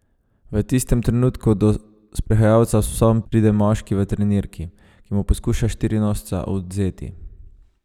V tistem trenutku do sprehajalca s psom pride moški v trenirki, ki mu poskuša štirinožca odvzeti.